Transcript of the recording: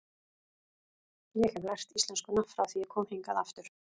Ég hef lært íslenskuna frá því ég kom hingað aftur.